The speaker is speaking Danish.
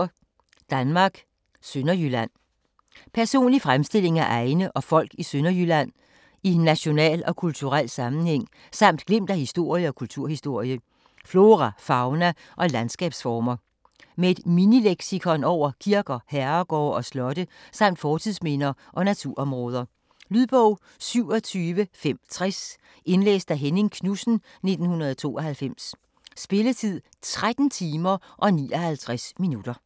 Danmark: Sønderjylland Personlig fremstilling af egne og folk i Sønderjylland i national og kulturel sammenhæng samt glimt af historie og kulturhistorie, flora, fauna og landskabsformer. Med et minileksikon over kirker, herregårde og slotte samt fortidsminder og naturområder. . Lydbog 27560 Indlæst af Henning Knudsen, 1992. Spilletid: 13 timer, 59 minutter.